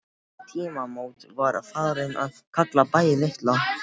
Við þau tímamót var farið að kalla bæinn Litla